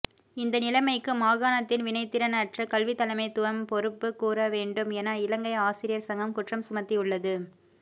இந்த நிலமைக்கு மாகாணத்தின் வினைத்திறனற்ற கல்வித்தலைமைத்துவம் பொறுப்பு கூறவேண்டும் என இலங்கை ஆசிரயர் சங்கம் குற்றம்சுமத்தியுள்ளது